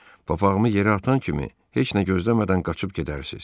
Papağımı yerə atan kimi heç nə gözləmədən qaçıb gedərsiz.